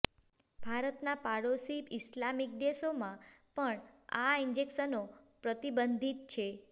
ભારતના પાડોશી ઈસ્લામિક દેશોમાં પણ આ ઈન્જેક્શનો પ્રતિબંધીત છે